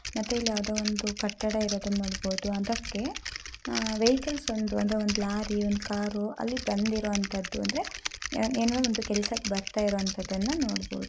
ಮತ್ತೆ ಇಲ್ಲಿ ಯಾವುದೋ ಒಂದು ಕಟ್ಟಡ ಇರೋದನ್ನ ನೋಡಬಹುದು. ಅದಕ್ಕೆ ಆಹ್ ವೆಹಿಕಲ್ಸ್ ಒಂದು ಅಂದ್ರೆ ಒಂದ್ ಲಾರಿ ಒಂದು ಕಾರು ಅಲ್ಲಿ ಬಂದಿರುವಂತದ್ದು ಅಂದ್ರೆ ಏನೋ ಒಂದು ಕೆಲಸಕ್ಕೆ ಬರ್ತಾ ಇರೋಂತದ್ದನ್ನ ನೋಡ್ಬೋದು.